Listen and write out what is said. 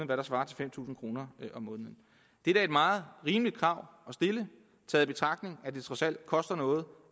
der svarer til fem tusind kroner om måneden det er da et meget rimeligt krav at stille taget i betragtning at det trods alt koster noget